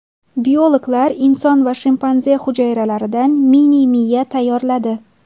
Biologlar inson va shimpanze hujayralaridan mini-miya tayyorladi.